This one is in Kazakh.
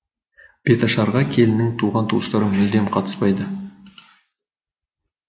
беташарға келіннің туған туыстары мүлдем қатыспайды